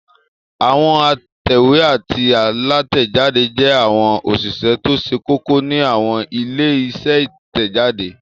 Àwọn òǹtẹ̀wé àti alátẹ̀jáde jẹ́ àwọn òṣìṣẹ́ tó ṣe kókó ní àwọn ilé-iṣẹ́ Ìtẹ̀jáde.